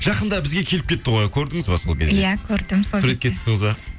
жақында бізге келіп кетті ғой көрдіңіз ба сол кезде иә көрдім сол кезде суретке түстіңіз ба